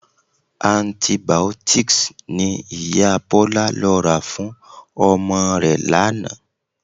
Antibiotics ni Ìyá Bọlá lọ rà fún ọmọ rẹ̀ lánàá